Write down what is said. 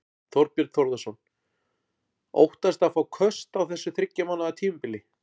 Þorbjörn Þórðarson: Óttastu að fá köst á þessu þriggja mánaða tímabili?